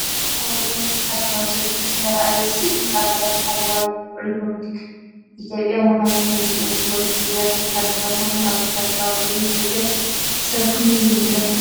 ኣብ እዋን ወተሃደራዊ ሰልፊ ዝተራእየ ስእሊ ኣባላት ሓለዋ ሪፓብሊካን ኢትዮጵያን መካይንን። ከምዚኦም ዝበሉ ፍሉያት ወተሃደራዊ መካይን ኣብ ወተሃደራዊ ኣገልግሎት ኢትዮጵያ ክሳብ ክንደይ ልሙዳት እዮም?